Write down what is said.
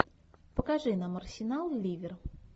покажи нам арсенал ливер